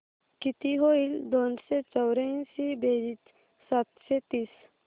किती होईल दोनशे चौर्याऐंशी बेरीज सातशे तीस